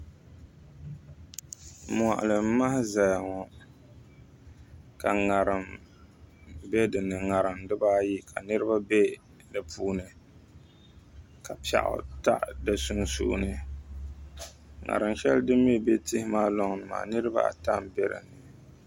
moɣali n maha ʒɛya ŋo ka ŋarim bɛ dinni ka niraba bɛ di puuni ka piɛɣu taɣi di sunsuuni ŋarim shɛli din mii bɛ tihi maa loŋni maa niraba ata n bɛ dinni